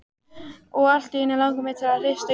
Og allt í einu langar mig til að hrista Júlíu.